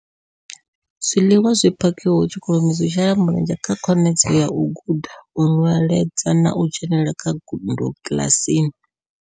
Zwiḽiwa zwi phakhiwaho tshikoloni zwi shela mulenzhe kha khonadzeo ya u guda, u nweledza na u dzhenela kha ngudo kiḽasini.